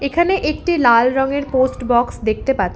এখানে একটি লাল রঙের পোস্ট বক্স দেখতে পাছ--